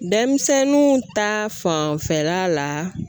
Denmisɛnninw ta fanfɛla la